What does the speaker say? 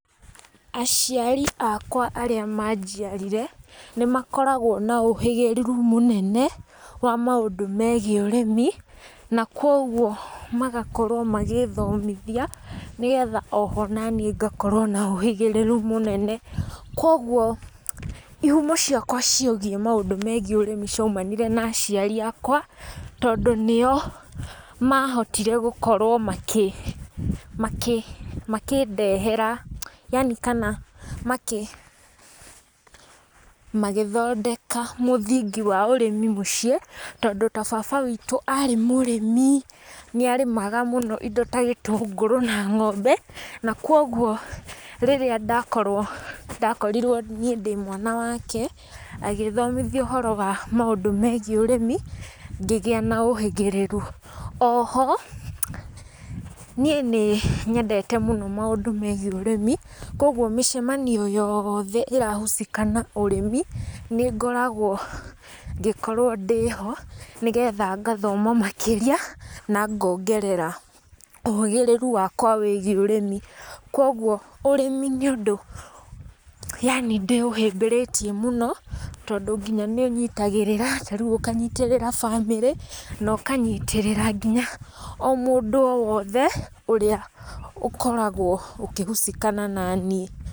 Aciari akwa arĩa manjiarire, nĩ makoragwo na ũhĩgĩrĩru mũnene, wa maũndũ megiĩ ũrĩmi, na koguo magakorwo magĩthomithia, nĩgetha oho naniĩ ngakorwo na ũhĩgĩrĩru mũnene, koguo ihumo ciakwa ciĩgiĩ maũndũ megiĩ ũrĩmi ciaumanire na aciari akwa, tondũ nio mahotire gũkorwo makĩ makĩ makĩndehera yani kana makĩ magĩthondeka mũthingi wa ũrĩmi mũciĩ, tondũ ta baba witũ arĩ mũrĩmi, nĩ arĩmaga mũno indo ta gĩtũngũrũ na ng'ombe na koguo rĩrĩa ndakorwo ndakorirwo niĩ ndĩ mwana wake, agĩthomithia ũhoro wa maũndũ megiĩ ũrĩmi ngĩgĩa na ũhĩgĩrĩru. Oho niĩ nĩ nyendete mũno maũndũ megiĩ ũrĩmi, koguo mĩcemanio yothe ira husika na ũrĩmi, nĩngoragwo ngĩkorwo ndĩ ho, nĩgetha ngathoma makĩria, na ngongerera ũhĩgĩrĩru wakwa wĩgiĩ ũrĩmi. Koguo ũrĩmi nĩ ũndũ yani ndĩũhĩmbĩrĩtie mũno, tondũ nginya nĩ ũnyitagĩrĩra, ta rĩu ũkanyitĩrĩra bamĩrĩ, na ũkanyitĩrĩra nginya o mũndũ o wothe ũrĩa ũkoragwo ũkĩ husikana naniĩ.